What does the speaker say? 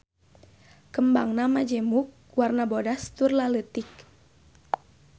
Kembangna majemuk warna bodas tur laleutik.